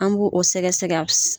An b'o a sɛgɛsɛ